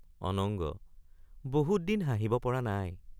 অনঙ্গ—বহুত দিন হাঁহিব পৰা নাই।